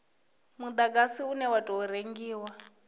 mudagasi une wa tou rengiwa